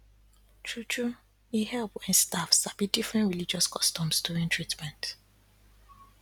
true true e help wen staff sabi different religious customs during treatment